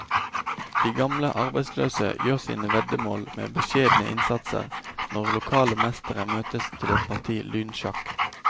De gamle arbeidsløse gjør sine veddemål med beskjedne innsatser når lokale mestere møtes til et parti lynsjakk.